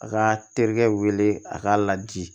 A ka terikɛ wele a k'a laji